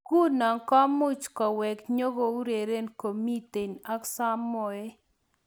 Nguno kumuch kowek nyikoureren komitei ak samoei.